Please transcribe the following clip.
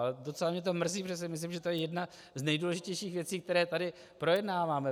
A docela mě to mrzí, protože myslím, že to je jedna z nejdůležitějších věcí, které tady projednáváme.